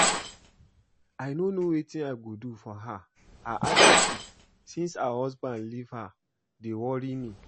I no know wetin I go do for her. Her attitude since her husband leave her dey worry me